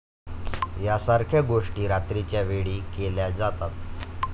यासारख्या गोष्टी रात्रीच्यावेळी केल्या जातात.